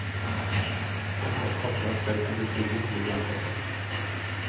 Etter at kattene er stelt og blitt trygge, blir de omplassert.